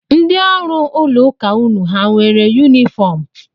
Ndị ọrụ ụlọụka unu hà nwere yunifọm?